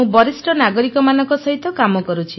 ମୁଁ ବରିଷ୍ଠ ନାଗରିକମାନଙ୍କ ସହିତ କାମ କରୁଛି